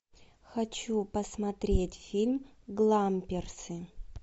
хочу посмотреть фильм гламперсы